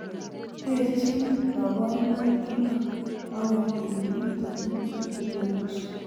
Terchin koborunoik chuton, ogot en biik chetupcho chemiondos.